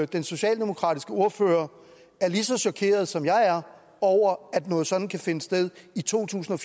den socialdemokratiske ordfører er lige så chokeret som jeg er over at noget sådant kan finde sted i totusinde